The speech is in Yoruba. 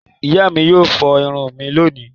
Ìyá mi yóò fọ irun mi lónìí.